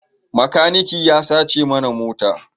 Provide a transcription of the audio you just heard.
Makaniki ya sace mana mota